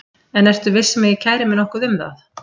En ertu viss um að ég kæri mig nokkuð um það?